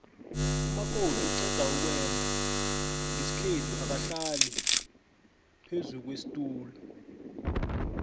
umakoti oqedukwenda nqesikhethu akahlali phezukwesitula